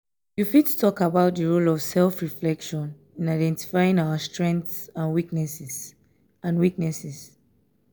you fit talk about di role of self-reflection in identifying our strengths and weaknesses? and weaknesses?